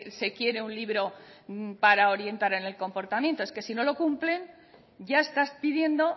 se quiere un libro para orientar en el comportamiento es que si no lo cumplen ya estás pidiendo